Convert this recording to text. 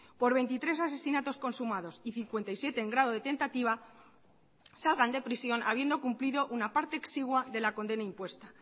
por veintitrés asesinatos consumados y cincuenta y siete en grado de tentativa salgan de prisión habiendo cumplido una parte exigua de la condena impuesta